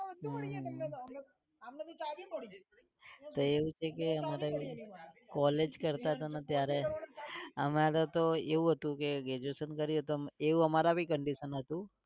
હમ એવું તો કે college કરતા તા ને ત્યારે અમારે તો તેવું હતું કે graduation કરીએ તો એવું અમારે भीcondition હતું